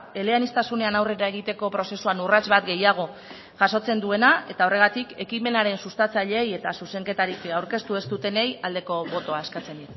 eleaniztasunean aurrera egiteko prozesuan urrats bat gehiago jasotzen duena eta horregatik ekimenaren sustatzaileari eta zuzenketak aurkeztu ez dutenei aldeko botoa eskatzen